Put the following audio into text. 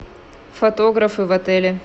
фотографы в отеле